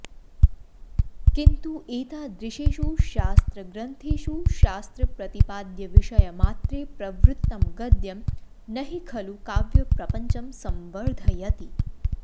किन्तु एतादृशेषु शास्त्रग्रन्थेषु शास्त्रप्रतिपाद्यविषयमात्रे प्रवृत्तं गद्यं न हि खलु काव्यप्रपञ्चं संवर्धयति